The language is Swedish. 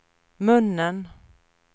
munnen